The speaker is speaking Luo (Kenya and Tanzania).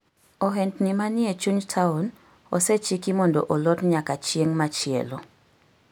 Ohendni manie chuny taon osechiki mondo olor nyaka chieng' machielo.